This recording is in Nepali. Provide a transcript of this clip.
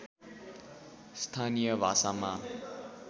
स्थानीय भाषामा